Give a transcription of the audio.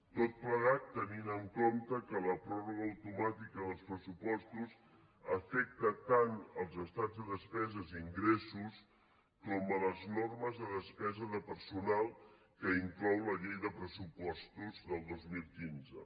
tot plegat tenint en compte que la pròrroga automàtica dels pressupostos afecta tant els estats de despeses i ingressos com les normes de despesa de personal que inclou la llei de pressupostos del dos mil quinze